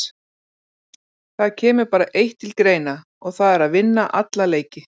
Það kemur bara eitt til greina og það er að vinna alla leiki.